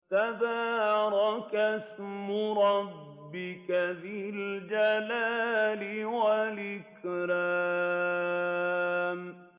تَبَارَكَ اسْمُ رَبِّكَ ذِي الْجَلَالِ وَالْإِكْرَامِ